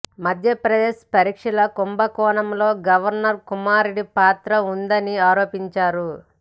మధ్యప్రదేశ్ పరిక్షల కుంభకోణంలో గవర్నర్ కుమారుడి పాత్ర ఉన్నదని ఆరోపించారు